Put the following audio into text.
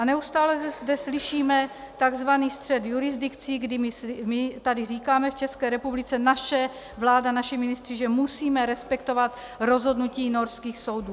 A neustále zde slyšíme tzv. střet jurisdikcí, kdy my tady říkáme v České republice, naše vláda, naši ministři, že musíme respektovat rozhodnutí norských soudů.